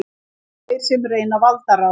Þeir sem reyna valdarán